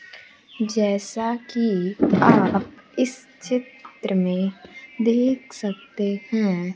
जैसा कि आप इस चित्र में देख सकते है।